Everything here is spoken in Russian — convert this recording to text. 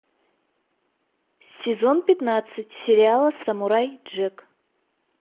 сезон пятнадцать сериала самурай джек